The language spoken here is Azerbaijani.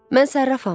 Mən sərrafam.